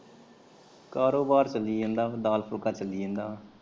ਕਾਰੋਬਾਰ ਚੱਲੀ ਜਾਂਦਾ ਦਾਲ ਫੁੱਲਕਾ ਚੱਲੀ ਜਾਂਦਾ।